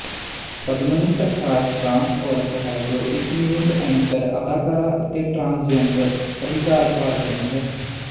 Padmini Prakash trans ਔਰਤ ਹੈ ਜੋ ਇੱਕ ਨਿਊਜ਼ ਐਂਕਰ ਅਦਾਕਾਰਾ ਅਤੇ ਟਰਾਂਸਜੈਂਡਰ ਅਧਿਕਾਰ ਕਾਰਕੁੰਨ ਹੈ